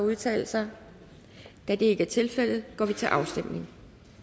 at udtale sig da det ikke er tilfældet går vi til afstemning